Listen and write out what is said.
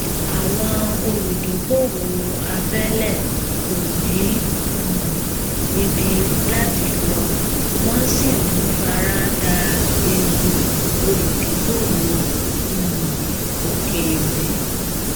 àwọn olùdókòwò abẹlẹ kò ní um ibi láti lọ wọn sì ń fara dà ewu olùdókòwò um òkèèrè